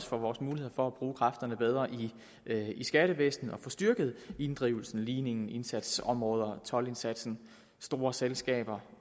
for vores muligheder for at bruge kræfterne bedre i skattevæsenet og få styrket området inddrivelse ligning indsatsområder toldindsats store selskaber